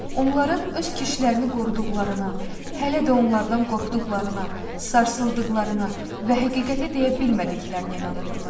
Onların öz kişilərini qoruduqlarına, hələ də onlardan qorxduqlarına, sarsıldıqlarına və həqiqəti deyə bilmədiklərinə inanırdılar.